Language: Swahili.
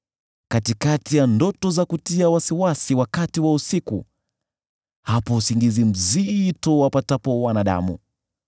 Katikati ya ndoto za kutia wasiwasi wakati wa usiku, hapo usingizi mzito uwapatapo wanadamu,